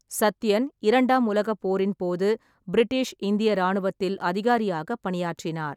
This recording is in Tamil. சத்யன், இரண்டாம் உலகப் போரின்போது பிரிட்டிஷ் இந்திய ராணுவத்தில் அதிகாரியாக பணியாற்றினார்.